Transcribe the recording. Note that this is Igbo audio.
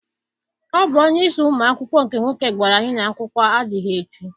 Ọ bụ onyeisi ụmụ akwụkwọ nke nwoke gwara anyị na akwụkwọ adịghị echi.